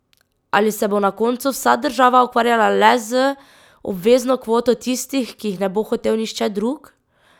Ali se bo na koncu vsa država ukvarjala le z obvezno kvoto tistih, ki jih ne bo hotel nihče drug?